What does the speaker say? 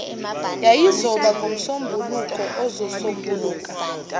yayizoba ngomsombuluko ozosombuluka